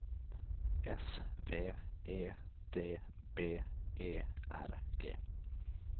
S V E D B E R G